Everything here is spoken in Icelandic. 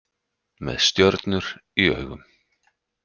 Með stjörnur í augum